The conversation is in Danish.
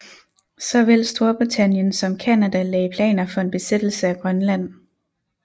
Såvel Storbritannien som Canada lagde planer for en besættelse af Grønland